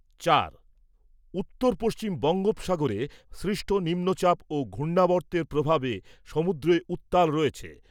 চার। উত্তর পশ্চিম বঙ্গোপসাগরে সৃষ্ট নিম্নচাপ ও ঘূর্ণাবর্তের প্রভাবে সমুদ্র উত্তাল রয়েছে।